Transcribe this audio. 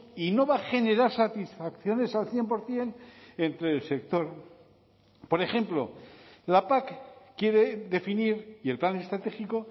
y no va a generar satisfacciones al cien por ciento entre el sector por ejemplo la pac quiere definir y el plan estratégico